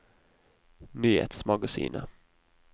nyhetsmagasinet